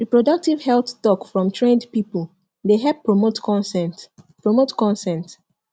reproductive health talk from trained people dey help promote consent promote consent